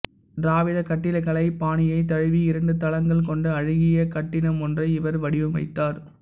திராவிடக் கட்டிடக்கலைப் பாணியைத் தழுவி இரண்டு தளங்கள் கொண்ட அழகிய கட்டிடமொன்றை இவர் வடிவமைத்தார்